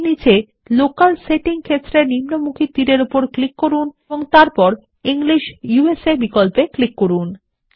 এর নিচে local setting ক্ষেত্রের নিম্নমুখী তীরের উপর ক্লিক করুন এবং তারপর ইংলিশ ইউএসএ বিকল্পে ক্লিক করুন